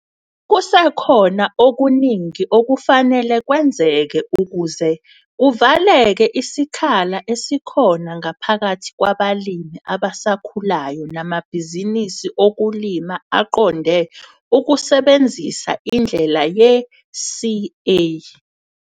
Kusekhona okuningi okufanele kwenzeke ukuze kuvaleke isikhala esikhona ngaphakathi kwabalimi abasakhulayo namabhizinisi okulima aqonde ukusebenzisa indlela ye-'CA.